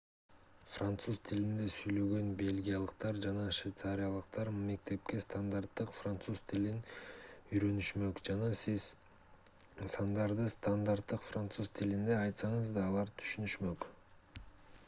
француз тилинде сүйлөгөн бельгиялыктар жана швейцариялыктар мектепте стандарттык француз тилин үйрөнүшмөк жана сиз сандарды стандарттык француз тилинде айтсаңыз да алар түшүнүшмөк